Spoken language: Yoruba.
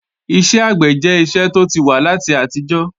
Iṣẹ́ àgbẹ̀ jẹ́ iṣẹ́ tó ti wà láti àtijọ́